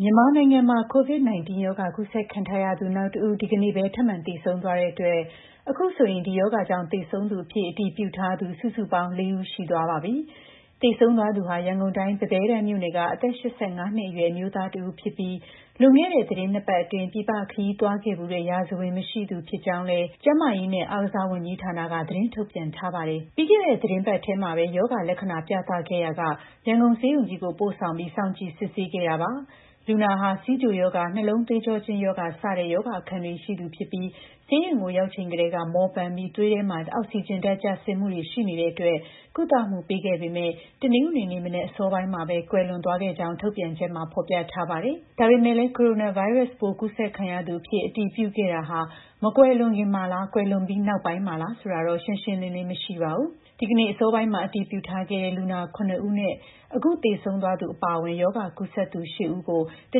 မြန်မာနိုင်ငံမှာ COVID-19 ရောဂါ ကူးစက်ခံထားရသူ နောက် ၁ ဦး ဒီကနေ့ပဲ ထပ်မံသေဆုံးသွားတဲ့အတွက် အခုဆိုရင် ဒီရောဂါကြောင့် သေဆုံးသူအဖြစ် အတည်ပြုထားသူ စုစုပေါင်း ၄ ဦး ရှိသွားပါပြီ။ သေဆုံးသွားသူဟာ ရန်ကုန်တိုင်း ပန်းဘဲတန်းမြို့နယ်က အသက် ၈၅ နှစ်အရွယ် အမျိုးသားတဦးဖြစ်ပြီး လွန်ခဲ့တဲ့ သီတင်း ၂ ပတ်အတွင်း ပြည်ပခရီးသွားခဲ့ဖူးတဲ့ ရာဇဝင်မရှိသူဖြစ်ကြောင်းလည်း ကျန်းမာရေးနဲ့ အားကစားဝန်ကြီးဌာနက သတင်းထုတ်ပြန်ထားပါတယ်။ ပြီးခဲ့တဲ့ သီတင်းပတ်ထဲမှာပဲ ရောဂါလက္ခဏာ ပြသခဲ့ရာက ရန်ကုန်ဆေးရုံကြီးကို ပို့ဆောင်ပြီး စောင့်ကြည့် စစ်ဆေးခဲ့တာပါ။ လူနာဟာ ဆီးချိုရောဂါ၊ နှလုံးသွေးကြောကျဉ်းရောဂါ စတဲ့ရောဂါအခံတွေ ရှိသူဖြစ်ပြီး ဆေးရုံကို ရောက်ချိန်ကတည်းက မောပန်းပြီး သွေးထဲမှာ အောက်စီဂျင်ဓာတ် ကျဆင်းမှုတွေ ရှိနေတဲ့အတွက် ကုသမှုပေးခဲ့ပေမယ့်လည်း တနင်္ဂနွေနေ့မနက် အစောပိုင်းမှာပဲ ကွယ်လွန်သွားခဲ့ကြောင်းလည်း ထုတ်ပြန်ချက်မှာ ဖော်ပြထားပါတယ်။ ဒါပေမယ့်လည်း ကိုရိုနာဗိုင်းရပ်စ်ပိုး ကူးစက်ခံရသူအဖြစ် အတည်ပြုခဲ့တာဟာ မကွယ်လွန်ခင်မှာလား ကွယ်လွန်ပြီး နောက်ပိုင်းမှာလား ဆိုတာကတော့ ရှင်းရှင်းလင်းလင်း မရှိပါဘူး။ ဒီနေ့အစောပိုင်းမှာ အတည်ပြုထားခဲ့တဲ့ လူနာ ၇ ဦးနဲ့ အခုသေဆုံးသွားသူ အပါအဝင် ရောဂါကူးစက်သူ ၈ ဦးကို တ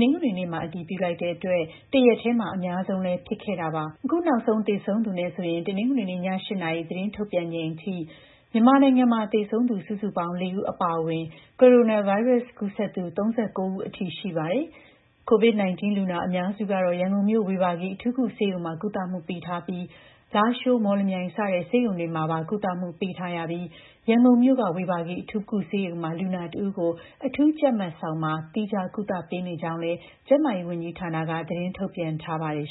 နင်္ဂနွေနေ့မှာ အတည်ပြုလိုက်တဲ့အတွက် တရက်တည်းမှာ အများဆုံးလည်း ဖြစ်ခဲ့တာပါ။ အခုနောက်ဆုံး သေဆုံးသူနဲ့ပါဆိုရင်တော့ တနင်္ဂနွေနေ့ည ၈ နာရီ သတင်းထုတ်ပြန်ချိန်အထိ မြန်မာနိုင်ငံမှာ သေဆုံးသူ စုစုပေါင်း ၄ ဦး အပါအဝင် ကိုရိုနာဗိုင်းရပ်စ် ကူးစက်သူ ၃၉ ဦးအထိ ရှိသွားပါပြီ်။ COVID-19 လူနာအများစုကတော့ ရန်ကုန်မြို့ ဝေဘာဂီအထူးကုဆေးရုံမှာ ကုသမှုပေးထားပြီး လားရှိုး၊ မော်လမြိုင် စတဲ့ ဆေးရုံတွေမှာပါ ကုသမှုပေးထားရပြီး ရန်ကုန်မြို့က ဝေဘာဂီအထူးကုဆေးရုံမှာ လူနာ ၁ ဦးကို အထူးကြပ်မတ်ဆောင်မှာ သီးခြားကုသပေးနေကြောင်းလည်း ကျန်းမာရေးဝန်ကြီးဌာနက သတင်းထုတ်ပြန်ထားပါတယ်